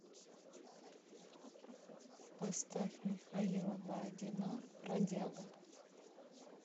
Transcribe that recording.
поставь михаила бородина бродяга